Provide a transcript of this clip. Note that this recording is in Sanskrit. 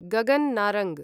गगन् नारंग्